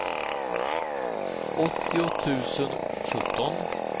åttio tusen sjutton